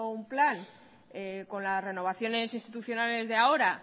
un plan con las renovaciones institucionales de ahora